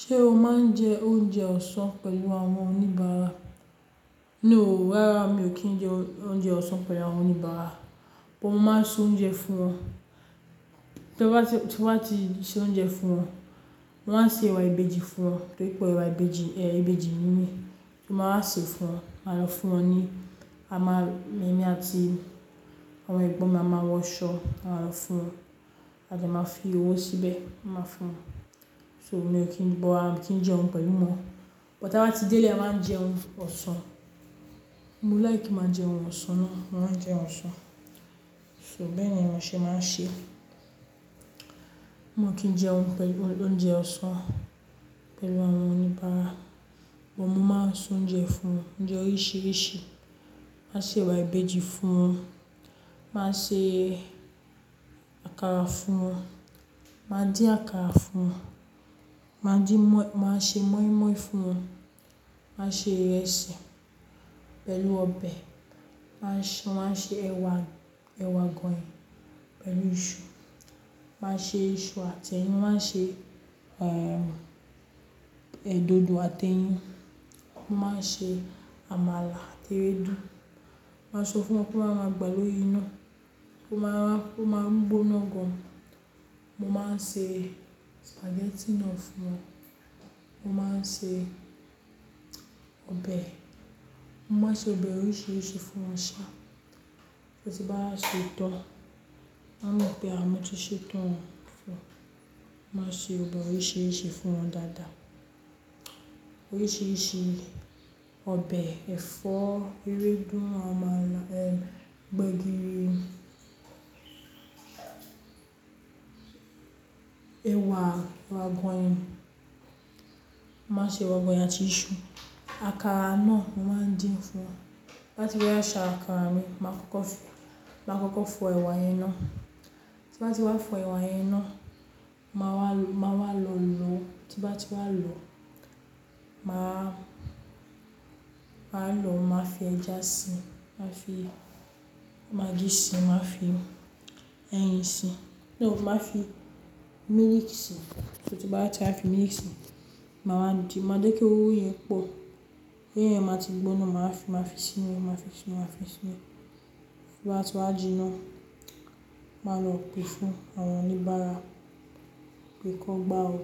Ṣé o máa ń jẹ oúnjẹ ọ̀sán pẹ̀lú àwọn oníbàárà? No, rárá mi ò kí ń jẹ oúnjẹ ọ̀sán pẹ̀lú àwọn oníbàárà. Mo máa ń ṣe oúnjẹ fún wọn. Tí n bá ti ṣe oúnjẹ fún wọn, wọ́n á ṣe ẹ̀wà ìbejì fún wọn. Torí pè é ẹ̀wà ìbejì, ẹ ìbejì nìyí. Mo máa ṣe fún wọn, màá lọ fún wọn ní a máa ń ní àti àwọn ẹ̀gbọ́n mi a máa wọ aṣọ, àá wá fún wọn. A jẹ máa fi owó síbẹ̀, máa fún wọn. So mi ò kí ń bọ á wọn, mi ò kí ń jẹ́ wọn pẹ̀lú wọn. But tí a bá ti dé lé a máa ń jẹun ọ̀sán. Mo láì kí máa jẹun ọ̀sán náà, mo màá jẹun ọ̀sán. So bẹ́ẹ̀ ni mo ṣéé máa ń ṣe. Mo kí ń jẹun pẹ̀lú oúnjẹ ọ̀sán pẹ̀lú àwọn oníbàárà. Bọ́ mo máa ń ṣe oúnjẹ fún wọn, oúnjẹ oríṣiríṣi. Máa ṣe ẹ̀wà ìbejì fún wọn. Máa ṣe àkàrà fún wọn. Máa dín àkàrà fún wọn. Máa dín mọ́, máa ṣe moi moi fún wọn. Máa ṣe ìrẹsì pẹ̀lú ọbẹ̀. Máa ṣe, máa ṣe ẹwà, ẹwà àgọ̀yìn pẹ̀lú iṣu. Máa ṣe iṣu àti ẹyin. Máa ṣe, è, ẹ̀ dodo àti ẹyin. Mo máa ń ṣe àmàlà àti ewédú. Màá sọ fún wọn pé màá máa gbà lórí iná. Ma máa, mo máa ń gbóná gan. Mo máa ń ṣe spaghetti náà fún wọn. Mo máa ń ṣe ọbẹ̀. Mo máa ń ṣe ọbẹ̀ oríṣiríṣi fún wọn ṣá. Tí n bá ṣe tán, máa mọ̀ pé a mo tí ṣe tán fún wọn. Máa ṣe ọbẹ̀ oríṣiríṣi fún wọn dáadáa. Oríṣiríṣi ọbẹ̀, ẹ̀fọ́, ewédú, àmàlà, ẹ́, gbẹ̀gìrì, ẹwà, ẹwà àgọ̀yìn. Máa ṣe ẹwà àgọ̀yìn àti iṣu. Àkàrà náà mo máa ń dín fún wọn. Bá ti wá ṣe àkàrà mi, máa kọkọ fi, máa kọkọ fọ ẹwà yẹn iná. Tí wọ́n bá ti wá fọ ẹwà yẹn iná, màá wá, màá wá lọ́ọ́ lọ̀. Tí wọ́n bá ti wá lòó, màá, màá lọ̀, màá fi ẹja si, màá fi magí si, màá fi ẹyin si. No, màá fi milk síi. Tí wọ́n bá ti wá fi milk síi, màá din. Máa jẹ́ pé owó yẹn pọ̀. Ẹyẹ yẹn máa ti gbóná, màá fi, màá fi sí inú rẹ̀, màá fi sí inú, màá fi sí inú. Tí wọ́n bá ti wá jiná, màá lọ pe fún àwọn oníbàárà pé kí wọn gbá o.